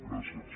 gràcies